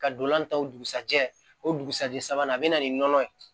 Ka dolan ta o dugusajɛ o dugusɛjɛ sabanan a bɛ na ni nɔnɔ ye